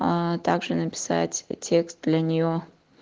аа также написать текст для неё